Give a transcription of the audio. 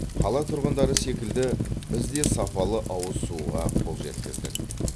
қала тұрғындары секілді біз де сапалы ауыз суға қол жеткіздік